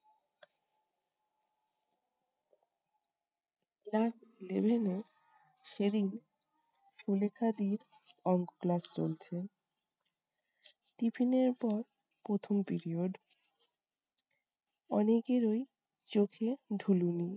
class eleven এ সে দিন সুলেখা দি'র অংক class চলছে। tiffin পর প্রথম period । অনেকেরই চোখে ঢুলুনি